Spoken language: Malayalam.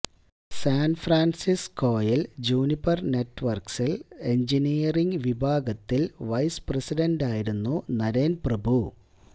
സാൻഫ്രാൻസിസ്കോയിൽ ജൂനിപർ നെറ്റ്വർക്സിൽ എഞ്ചിനീയറിംഗ് വിഭാഗത്തിൽ വൈസ് പ്രസിഡന്റായിരുന്നു നരേൻ പ്രഭു